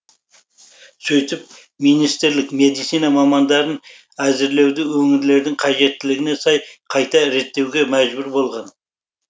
сөйтіп министрлік медицина мамандарын әзірлеуді өңірлердің қажеттілігіне сай қайта реттеуге мәжбүр болған